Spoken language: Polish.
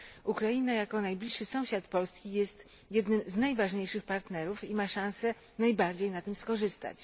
Ukraina jako najbliższy sąsiad Polski jest jednym z najważniejszych partnerów i ma szansę najbardziej na tym skorzystać.